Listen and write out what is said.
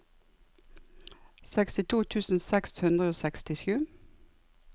sekstito tusen seks hundre og sekstisju